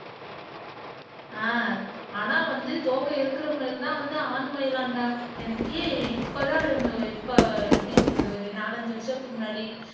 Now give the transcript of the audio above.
ஆஹ் ஆனா வந்து தோகை இருக்கற மயில் தான் வந்து ஆண்மயிலாம்டா எனக்கு இப்பதான் இப்ப எப்படி சொல்றது ஒரு நாலஞ்சு வருஷத்துக்கு முன்னாடி